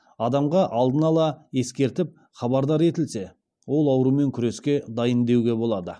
адамға алдын ала ескертіліп хабардар етілсе ол аурумен күреске дайын деуге болады